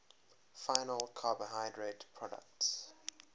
final carbohydrate products